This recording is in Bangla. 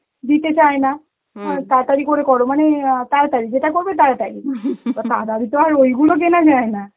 দিতে চায় না হয় তাড়াতাড়ি করে কর মানে আ তাড়াতাড়ি, যেটা করবে তাড়াতাড়ি তো তাড়াতাড়ি তো আর ওইগুলো কেনা যায় না.